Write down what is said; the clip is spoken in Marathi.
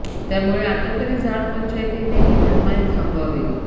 त्यामुळे आता तरी जात पंचायतींनी ही मनमानी थांबवावी